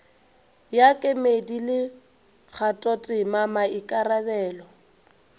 ya kemedi le kgathotema maikarabelo